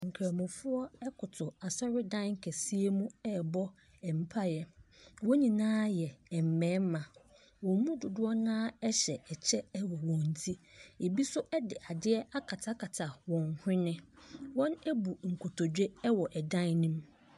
Nkramofo ɛkutu asɔredan kɛseɛ mu ɛbɔ mpaeɛ wɔn nyinaa yɛ mmarima ɔmɔ dodoɔ na hyɛ kyɛw wɔ wɔn tire ebi nso di adeɛ akata wɔn hwene wɔn abu kotodwe ɛwɔ dan ne mu.